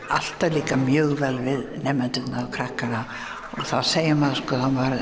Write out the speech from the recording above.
alltaf líkað mjög vel við nemendurna og krakkana og þá segir maður